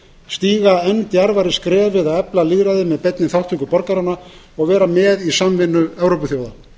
stíga enn djarfari skref við að efla lýðræðið með beinni þátttöku borgaranna og vera með í samvinnu evrópuþjóða